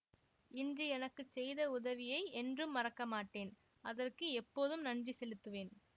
இன்று எனக்கு செய்த உதவியை என்றும் மறக்க மாட்டேன் அதற்கு எப்போதும் நன்றி செலுத்துவேன்